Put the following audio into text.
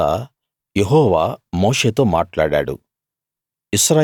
తరువాత యెహోవా మోషేతో మాట్లాడాడు